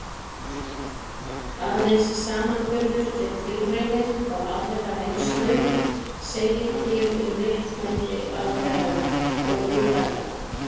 Aðeins samanburður við tilraunir og aðra reynslu segir til um réttmæti aðferðanna og hugtakanna.